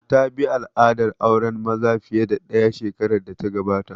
Ta bi al'adar auren maza fiye da ɗaya shekarar da ta gabata